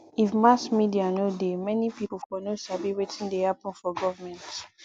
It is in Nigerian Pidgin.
if mass media no dey many people for no sabi wetin dey happen for government